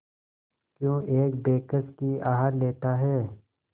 क्यों एक बेकस की आह लेता है